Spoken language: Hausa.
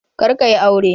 Karka yi aure.